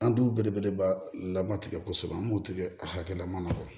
An dun belebeleba lama tigɛ kosɛbɛ an b'o tigɛ akɛlama fɔ